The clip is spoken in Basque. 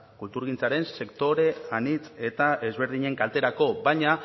kulturgintzaren sektore anitz eta ezberdinen kalterako baina